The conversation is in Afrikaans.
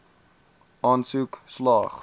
aansoek slaag